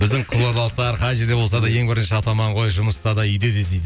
біздің қызылордалықтар қай жерде болса да ең бірінші атаман ғой жұмыста да үйде де дейді